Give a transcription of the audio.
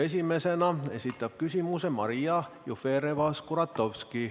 Esimesena esitab küsimuse Maria Jufereva-Skuratovski.